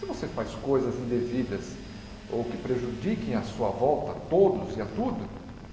Se você faz coisas indevidas ou que prejudiquem à sua volta todos e a tudo,